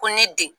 Ko ne den